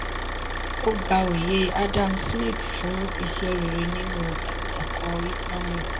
ó gba oyè adam smith fún iṣẹ́ rere nínú ẹ̀kọ́ economics.